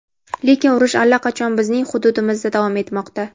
lekin urush allaqachon bizning hududimizda davom etmoqda.